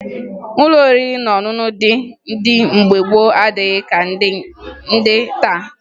Ụlọ oriri na ọṅụṅụ ndị dị mgbe gboo adịghị ka ndị dị taa